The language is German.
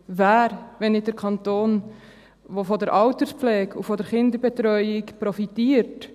– Wer, wenn nicht der Kanton, der von der Alterspflege und der Kinderbetreuung profitiert,